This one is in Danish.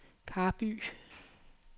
Karby